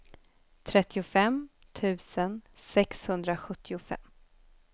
trettiofem tusen sexhundrasjuttiofem